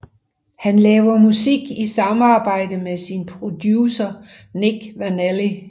Han laver musik i samarbejde med sin producer Nick Vanelli